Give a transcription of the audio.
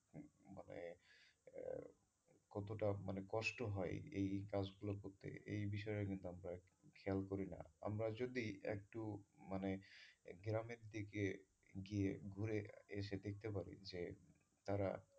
কতোটা মানে কষ্ট হয় এই কাজগুলো করতে এই বিষয়গুলো কিন্তু আমরা খেয়াল করি না আমরা যদি একটু মানে গ্রামের দিকে গিয়ে এসে দেখতে পারি যে তারা এই,